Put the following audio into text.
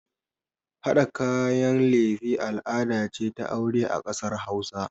Haɗa kayan lefe al'ada ce ta aure a ƙasar hausa